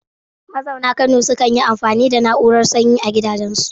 Mazauna Kano sukan yi amfani da na'urar sanyi a gidajensu.